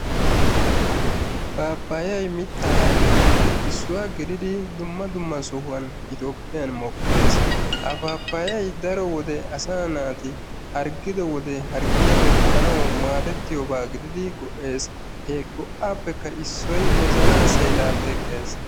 Pappayay mitta ayfettupe issuwa gididi dumma dumma sohuwan toophiyan mokkes. Ha pappaya asaa naati harggido wode harggiyappe paxxaanawu maadetiyoba gididi go'ees. He go'appe issoy wozana seela teqqees.